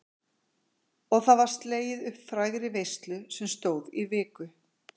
Og það var slegið upp frægri veislu sem stóð í viku.